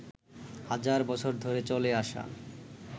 হাজার বছর ধরে চলে আসা